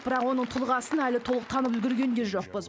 бірақ оның тұлғасын әлі толық танып үлгерген де жоқпыз